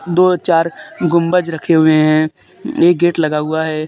दो चार गुंबज रखे हुए हैं एक गेट लगा हुआ है।